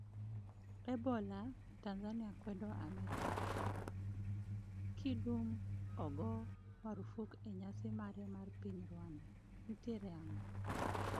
Ebola: Tanzania kwedo Amerka, Kidum ogo marufuk e nyasi mare mar piny Rwanda- nitiere ang'o?